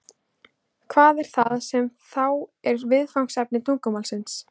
Hvað er það sem þá er viðfangsefni tungumálsins?